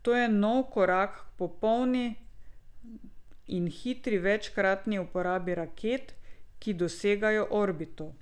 To je nov korak k popolni in hitri večkratni uporabi raket, ki dosegajo orbito.